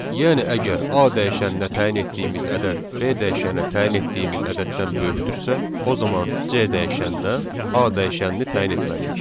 Yəni əgər A dəyişəninə təyin etdiyimiz ədəd B dəyişəninə təyin etdiyimiz ədəddən böyükdürsə, o zaman C dəyişəninə A dəyişənini təyin etməliyik.